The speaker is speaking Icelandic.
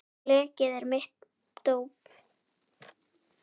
Blekið er mitt dóp.